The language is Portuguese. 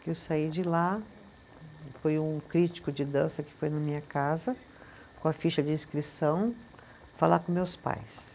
Que eu saí de lá, foi um crítico de dança que foi na minha casa, com a ficha de inscrição, falar com meus pais.